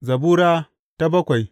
Zabura Sura bakwai